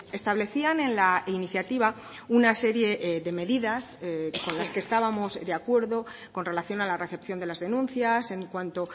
establecían en la iniciativa una serie de medidas con las que estábamos de acuerdo con relación a la recepción de las denuncias en cuanto